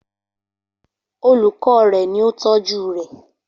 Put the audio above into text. Olùkọ́ rè ni ó tọ́jú rè